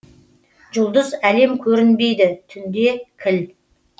жұлдыз әлем көрінбейді түнде кіл